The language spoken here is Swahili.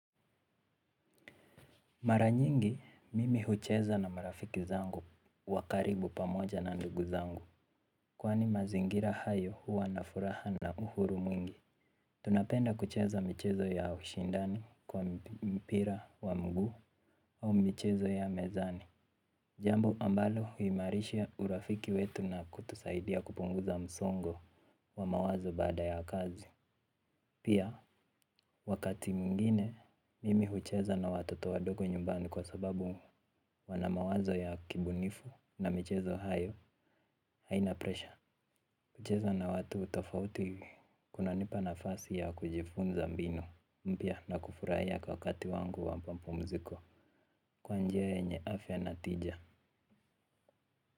Mara nyingi mimi hucheza na marafiki zangu wa karibu pamoja na ndugu zangu. Kwani mazingira hayo huwa na furaha na uhuru mwingi. Tunapenda kucheza michezo ya ushindani kwa mpira wa mguu au michezo ya mezani. Jambo ambalo huimarisha urafiki wetu na kutusaidia kupunguza msongo wa mawazo baada ya kazi. Pia, wakati mwingine, mimi hucheza na watoto wadogo nyumbani kwa sababu wana mawazo ya kibunifu na michezo hayo, haina presha. Kucheza na watu tofauti, kunanipa nafasi ya kujifunza mbinu, mpya na kufurahia kwa wakati wangu wa mapumziko, kwa njia nye afya na tija.